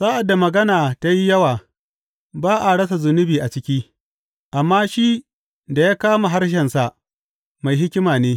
Sa’ad da magana ta yi yawa, ba a rasa zunubi a ciki, amma shi da ya ƙame harshensa mai hikima ne.